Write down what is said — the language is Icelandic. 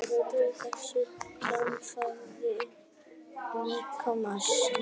Þau eru helstu öndunarfæri líkamans.